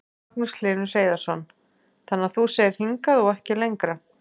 Magnús Hlynur Hreiðarsson: Þannig að þú segir hingað og ekki lengra?